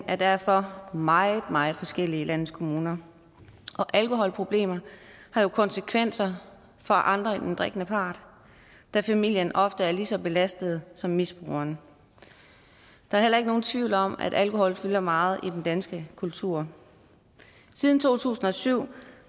er derfor meget meget forskellige i landets kommuner og alkoholproblemer har jo konsekvenser for andre end den drikkende part da familien ofte er lige så belastet som misbrugeren der er heller ikke nogen tvivl om at alkohol fylder meget i den danske kultur siden to tusind og syv